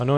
Ano.